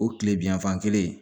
O kile bi yanfan kelen